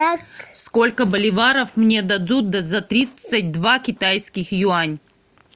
сколько боливаров мне дадут за тридцать два китайских юань